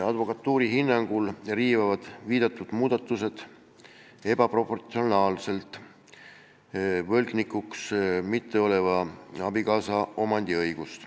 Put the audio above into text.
Advokatuuri hinnangul riivaksid need muudatused ebaproportsionaalselt võlgnikuks mitte oleva abikaasa omandiõigust.